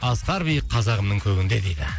асқар биік қазағымның көгінде дейді